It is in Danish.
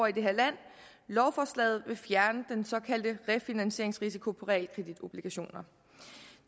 i det her land lovforslaget vil fjerne den såkaldte refinansieringsrisiko på realkreditobligationer